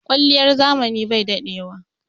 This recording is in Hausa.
Kwaliyar zamani bai daɗewa.